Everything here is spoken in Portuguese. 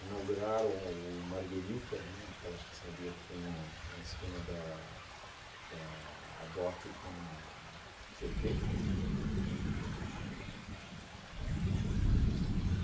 Inauguraram o Margherita, né, aquela pizzaria que tem na na esquina da da da Hadock com a Tietê.